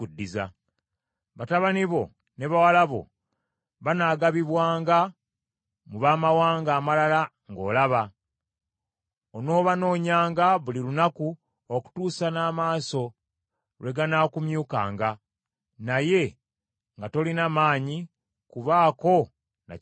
Batabani bo ne bawala bo banaagabibwanga mu baamawanga amalala ng’olaba; onoobanoonyanga buli lunaku okutuusa n’amaaso lwe ganaakumyukanga, naye nga tolina maanyi kubaako na kya kukola.